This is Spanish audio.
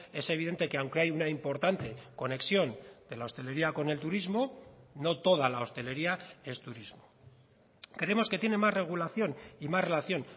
es evidente que aunque hay una importante conexión de la hostelería con el turismo no toda la hostelería es turismo creemos que tiene más regulación y más relación